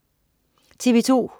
TV2: